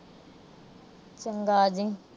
ਚੰਗਾ। ਆ ਜਾਈ।